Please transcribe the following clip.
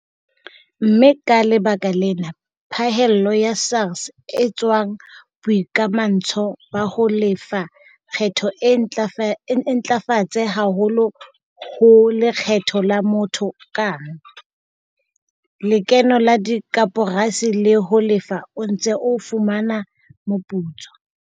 Mme ka lebaka lena phahello ya SARS e tswang boikamantsho ba ho lefa lekgetho e ntlafetse haholo ho lekgetho la motho kang, lekeno la dikoporasi le ho Lefa o Ntse o Fumana Moputso.